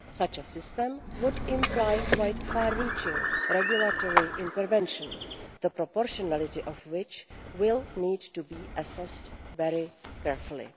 Such a system would imply quite far reaching regulatory intervention, the proportionality of which will need to be assessed very carefully.